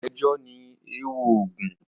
Ejò ni èèwọ̀ Ògún.